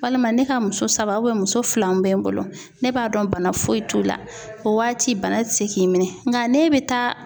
Walima ne ka muso saba muso filaw bɛ n bolo, ne b'a dɔn bana foyi t'u la, o waati bana tɛ se k'i minɛ, n ka ne bɛ taa